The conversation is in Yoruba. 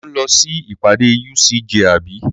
Ò ń lọ sí ìpàdé UCJ àbí?